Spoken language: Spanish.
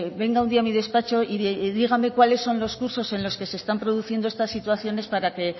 venga un día a mi despacho y dígame cuáles son los cursos en los que se están produciendo estas situaciones para que